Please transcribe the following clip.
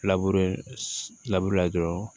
la dɔrɔn